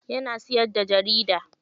Yana siyar da jarida.